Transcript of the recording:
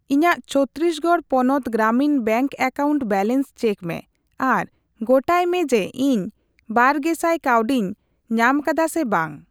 ᱤᱧᱟᱜ ᱪᱷᱚᱛᱛᱤᱥᱜᱚᱲ ᱯᱚᱱᱚᱛ Gramin bank account balance check ᱢᱮ ᱟᱨ ᱜᱚᱴᱟᱭ ᱢᱮ ᱡᱮ ᱤᱧ ᱵᱟᱨᱜᱮᱥᱟᱭ ᱠᱟᱣᱰᱤᱧ ᱧᱟᱢᱟᱠᱟᱫᱟ ᱥᱮ ᱵᱟᱝ᱾